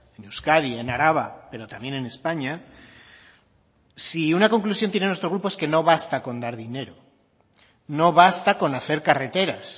en euskadi en araba pero también en españa si una conclusión tiene nuestro grupo es que no basta con dar dinero no basta con hacer carreteras